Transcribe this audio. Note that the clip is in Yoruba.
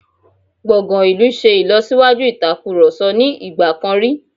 Gbọ̀ngàn ìlú ṣe ìlọ́síwájú ìatkurọ̀sọ ní ìgbà kan rí..